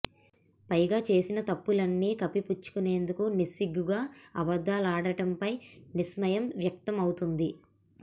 పైగా చేసిన తప్పుల్ని కప్పి పుచ్చుకునేందుకు నిస్సిగ్గుగా అబద్ధాలాడడంపై విస్మయం వ్యక్తమవుతోంది